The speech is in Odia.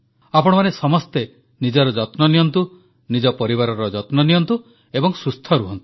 ଆପଣମାନେ ସମସ୍ତେ ନିଜର ଯତ୍ନ ନିଅନ୍ତୁ ନିଜ ପରିବାରର ଯତ୍ନ ନିଅନ୍ତୁ ଏବଂ ସୁସ୍ଥ ରହନ୍ତୁ